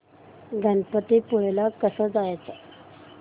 गणपतीपुळे ला कसं जायचं